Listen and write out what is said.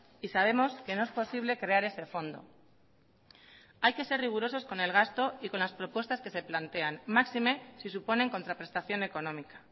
y sabemos que no es posible crear ese fondo hay que ser rigurosos con el gasto y con las propuestas que se plantean máxime si suponen contraprestación económica